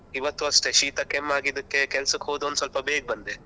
ಇವತ್ತು ಅಷ್ಟೇ ಶೀತ ಕೆಮ್ಮಾಗಿದ್ದಕ್ಕೆ ಕೆಲ್ಸಕ್ಕೆ ಹೋದವನು ಸ್ವಲ್ಪ ಬೇಗ ಬಂದೆ.